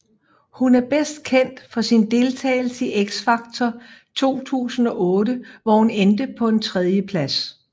Hun er bedst kendt for sin deltagelse i X Factor 2008 hvor hun endte på en tredjeplads